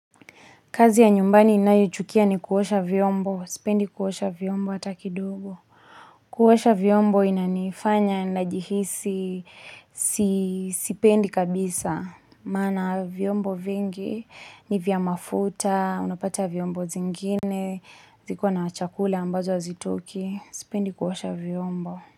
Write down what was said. Kazi ya nyumbani ninayoichukia ni kuosha vyombo, sipendi kuosha vyombo hata kidogo. Kuosha vyombo inanifanya ninajihisi sipendi kabisa. Maana vyombo vingi ni vya mafuta, unapata vyombo vingine, viko na chakula ambazo hazitoki, sipendi kuosha vyombo.